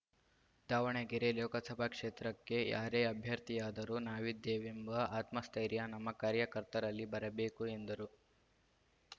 ದಾವಣಗೆರೆ ಲೋಕಸಭಾ ಕ್ಷೇತ್ರಕ್ಕೆ ಯಾರೇ ಅಭ್ಯರ್ಥಿಯಾದರೂ ನಾವಿದ್ದೇವೆಂಬ ಆತ್ಮಸ್ಥೈರ್ಯ ನಮ್ಮ ಕಾರ್ಯಕರ್ತರಲ್ಲಿ ಬರಬೇಕು ಎಂದರು